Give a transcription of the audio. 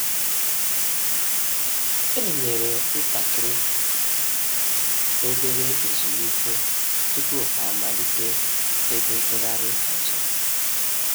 E nyere ntakịrị /obere ezumike tupu ha amalite egwu ntụgharị ọzọ